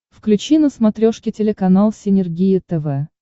включи на смотрешке телеканал синергия тв